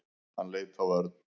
Hann leit á Örn.